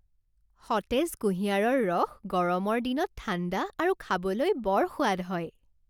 সতেজ কুঁহিয়াৰৰ ৰস গৰমৰ দিনত ঠাণ্ডা আৰু খাবলৈ বৰ সোৱাদ হয়।